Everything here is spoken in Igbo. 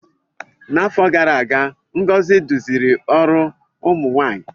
N'afọ gara aga Ngozi duziri ọrụ ụmụ nwanyị.